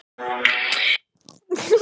Stundum talar hún lengi um það.